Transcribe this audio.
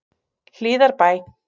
Hlíðarbæ